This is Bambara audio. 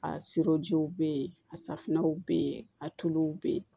A sirɔjiw be yen a safunɛw be yen a tulu be yen